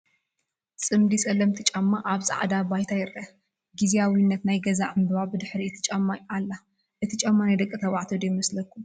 ፅምዲ ፀለምቲ ጫማ ኣብ ፃዕዳ ባይታ ይረአ፡፡ ጊዚያዊት ናይ ገዛ ዕንበባ ብድሕሪ እቲ ጫማ ኣላ፡፡ እቲ ጫማ ናይ ደቂ ተባዕትዮ ዶ ይመስለኩም?